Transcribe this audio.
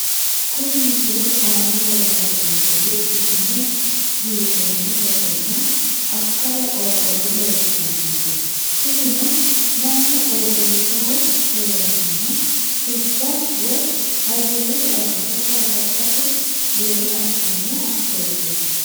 Kuni misilete aana lelanonkehuishine giironi basenna akkala qorqoro leeltanonke tinino mannu qooxesaho heranohu xibba woyi ayerete akata gargadhate yee asano asooteti.